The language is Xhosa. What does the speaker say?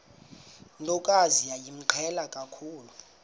ntokazi yayimqhele kakhulu